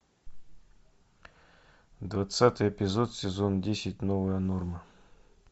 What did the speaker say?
двадцатый эпизод сезон десять новая норма